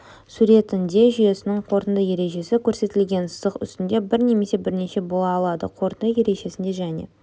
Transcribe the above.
суретінде жүйесінің қорытынды ережесі көрсетілген сызық үстінде бір немесе бірнеше бола алады қорытынды ережесінде және